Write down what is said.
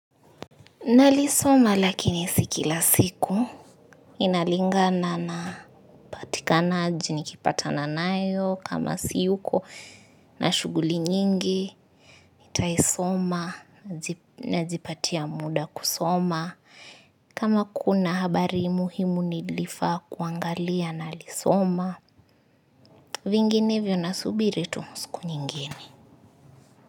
Nalisoma lakini si kila siku inalingana na upatikanaji nikipata nayo kama siyuko na shughuli nyingi nitaisoma najipatia muda kusoma kama kuna habari muhimu nilifaa kuangalia nalisoma vinginevyo nasubiri tu siku nyingine.